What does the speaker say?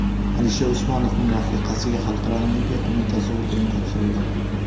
Alisher Usmonovning rafiqasiga Xalqaro olimpiya qo‘mitasi ordeni topshirildi.